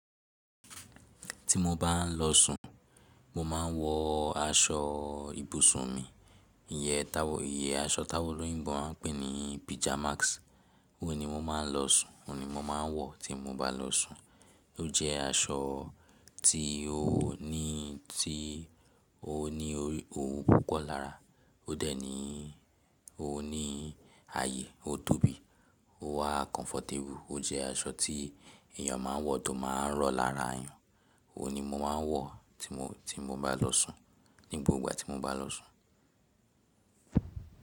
Tí mo bá ń lọ sùn, mo máa ń wọ aṣọ ibùsùn mi. Iye táwò, iye aṣọ táwòn olóyìnbo máa ń pè ní pìjámáks. Ó ni mo máa ń lọ sùn, ó ni mo máa ń wọ tí mo bá lọ sùn. Ó jẹ́ aṣọ tí ó ní, tí ó ní òun púpọ̀ lára. Ó dẹ̀ ní, ó ní ààyè, ó tóbi, ó wà kọ́nfọ̀tébù. Ó jẹ́ aṣọ tí èèyàn máa ń wọ tó máa ń rọ̀ lára ayùn. Ó ni mo máa ń wọ tí mo, tí mo bá lọ sùn, ní gbogbo ìgbà tí mo bá lọ sùn.